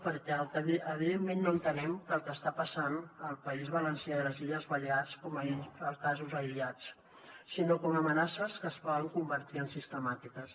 perquè evidentment no entenem el que està passant al país valencià i a les illes balears com a casos aïllats sinó com a amenaces que es poden convertir en sistemàtiques